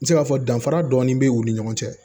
N bɛ se k'a fɔ danfara dɔɔnin bɛ u ni ɲɔgɔn cɛ